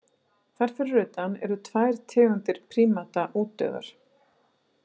Þar fyrir utan eru tvær tegundir prímata útdauðar.